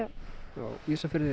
á Ísafirði